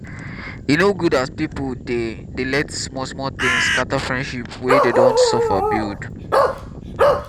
e no good as pipu dey dey let small small tin scatter friendship wey dey don suffer build.